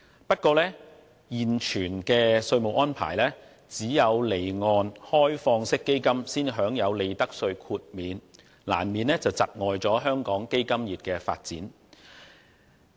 不過，根據現有的稅務安排，只有離岸開放式基金型公司才享有利得稅豁免，這難免會窒礙香港基金業的發展。